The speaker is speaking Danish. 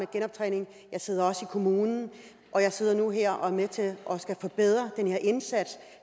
genoptræning jeg sidder også i kommunen og jeg sidder nu her og med til at forbedre den her indsats